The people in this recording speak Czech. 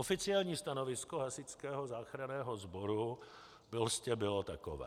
Oficiální stanovisko Hasičského záchranného sboru prostě bylo takové.